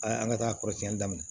A an ka taa kɔrɔsiyɛn daminɛ